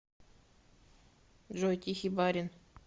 джой тихий барин